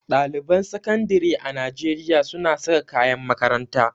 Ɗaliban sakandire a Najeriya suna saka kayan makaranta.